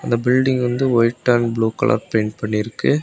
இந்த பில்டிங் வந்து white and blue colour paint பண்ணிருக்கு.